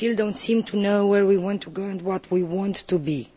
We still do not seem to know where we want to go and what we want to be.